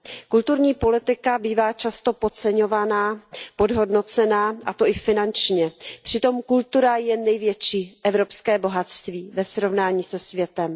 Kulturní politika bývá často podceňovaná, podhodnocená, a to i finančně, přitom kultura je největší evropské bohatství ve srovnání se světem.